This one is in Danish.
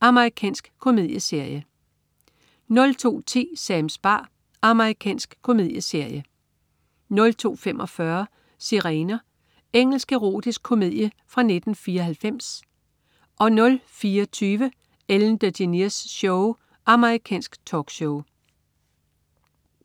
Amerikansk komedieserie 02.10 Sams bar. Amerikansk komedieserie 02.45 Sirener. Engelsk erotisk komedie fra 1994 04.20 Ellen DeGeneres Show. Amerikansk talkshow